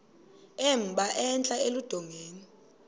emba entla eludongeni